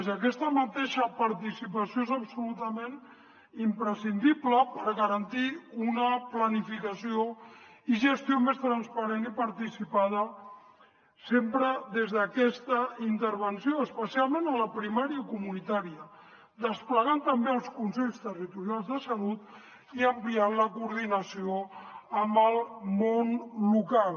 i aquesta mateixa participació és absolutament imprescindible per garantir una planificació i gestió més transparent i participada sempre des d’aquesta intervenció especialment en la primària comunitària desplegant també els consells territorials de salut i ampliant la coordinació amb el món local